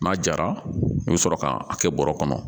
N'a jara i bɛ sɔrɔ k'a kɛ bɔrɛ kɔnɔ